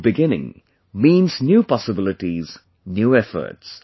New beginning means new possibilities New Efforts